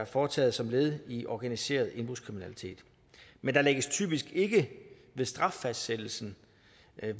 foretaget som led i organiseret indbrudskriminalitet men der lægges typisk ikke ved straffastsættelsen